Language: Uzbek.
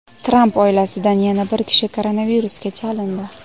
Tramp oilasidan yana bir kishi koronavirusga chalindi.